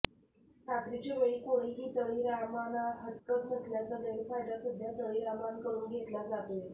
रात्रीच्या वेळी कोणीही तळीरामाना हटकत नसल्याचा गैरफायदा सध्या तळीरामांकडून घेतला जातोय